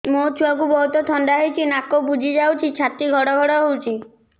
ମୋ ଛୁଆକୁ ବହୁତ ଥଣ୍ଡା ହେଇଚି ନାକ ବୁଜି ଯାଉଛି ଛାତି ଘଡ ଘଡ ହଉଚି